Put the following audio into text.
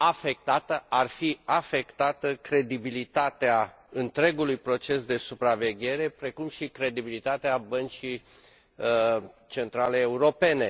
ar fi afectată credibilitatea întregului proces de supraveghere, precum și credibilitatea Băncii Centrale Europene.